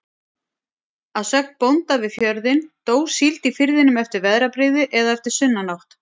Að sögn bónda við fjörðinn, dó síld í firðinum eftir veðrabrigði eða eftir sunnanátt.